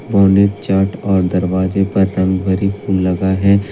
और दरवाजे पर रंगभरी फूल लगा है।